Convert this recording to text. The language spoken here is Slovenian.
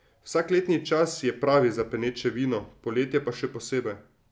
Vsak letni čas je pravi za peneče vino, poletje pa še posebej.